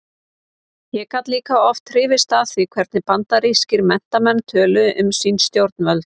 Ég gat líka oft hrifist af því hvernig bandarískir menntamenn töluðu um sín stjórnvöld.